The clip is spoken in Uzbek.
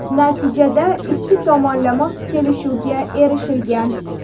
Natijada ikki tomonlama kelishuvga erishilgan.